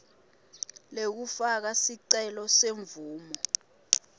lekufaka sicelo semvumo